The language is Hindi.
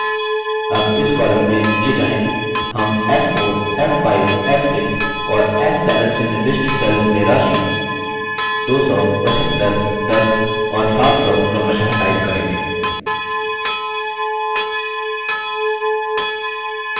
अब इस column में नीचे जाएँ हम f4 75 f6 और f7 से निर्दिष्ट cells में राशि 1000 625 10 और 200 क्रमशः type करेंगे